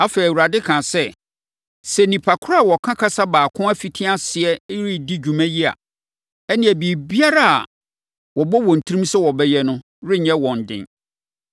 Afei, Awurade kaa sɛ, “Sɛ nnipa korɔ a wɔka kasa baako afiti aseɛ redi saa dwuma yi a, ɛnneɛ biribiara a wɔbɔ wɔn tirim sɛ wɔbɛyɛ no renyɛ wɔn den.